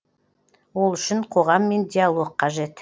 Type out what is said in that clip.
ол үшін қоғаммен диалог қажет